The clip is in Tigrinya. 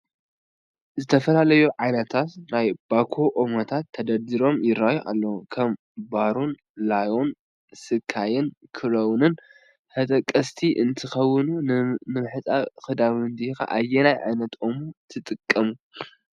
ዝተፈላለዩ ዓይነታት ናይ ባኮ ኦሞታት ተደርዲሮም ይራኣዩ ኣለው፡፡ ከም ኮርን፣ ላዮን፣ ስካይን ክሮውንን ተጠቀስቲ እንትኾኑ ንምሕፃብ ክዳውንቲ ኸ ኣየናይ ዓይነት ኦሞ ትጥቀሙ?